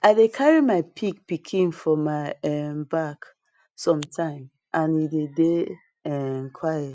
i dey carry my pig pikin for my um back some time and e dey dey um quiet